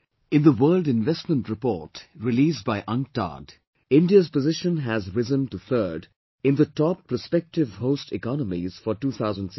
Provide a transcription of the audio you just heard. In the World Investment Report released by UNCTAD, India's position has risen to third in the Top Prospective Host Economies for 201618